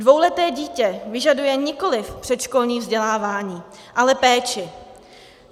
Dvouleté dítě vyžaduje nikoliv předškolní vzdělávání, ale péči.